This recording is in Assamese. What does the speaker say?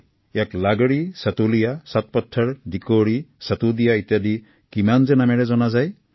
কোনোবাই ইয়াক লাগৰী আন কোনোবাই সাতোৰীয়া সাত পাথাৰ দিকোৰী সাতোদিয়া বুলি কয়